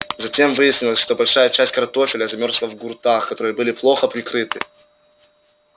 затем выяснилось что большая часть картофеля замёрзла в гуртах которые были плохо прикрыты